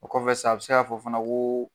O kɔfɛ sa, a be se ka fɔ fana ko